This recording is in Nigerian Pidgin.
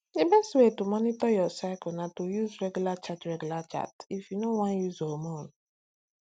the best way to monitor your cycle na to use regular chart regular chart if you no wan use hormone